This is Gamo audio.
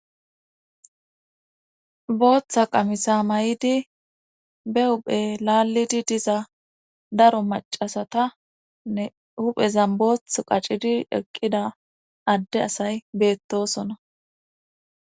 Booththa qamisa may'idi be uphe laallidi diza daro macasata nne huphezan booth qacidi eqqida adde asay beettosona